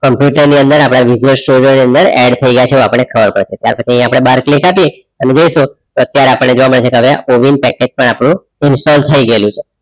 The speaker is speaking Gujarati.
કોમ્પ્યુટર ની અંદર આપણા store ની અંદર add એવું આપણે ખબર પડશે ત્યાર પછી આપણે બહાર click આપી જોઈશું અત્યારે આપણને જોવા મળશે ઓવિન પેકેજ પણ આપણું ઇન્સ્ટોલ થઈ ગયેલું છે